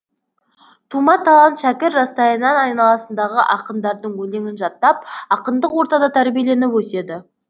тума талант шәкір жастайынан айналасындағы ақындардың өлеңін жаттап ақындық ортада тәрбиеленіп өседі